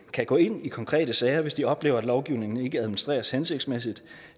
kan gå ind i konkrete sager hvis de oplever at lovgivningen ikke administreres hensigtsmæssigt